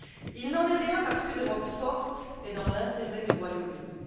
Il n'en est rien, parce qu'une Europe forte est dans l'intérêt du Royaume Uni.